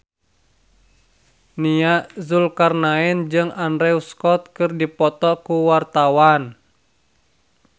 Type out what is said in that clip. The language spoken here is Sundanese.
Nia Zulkarnaen jeung Andrew Scott keur dipoto ku wartawan